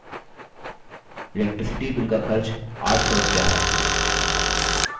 electricity bill का खर्च 800 रुपया है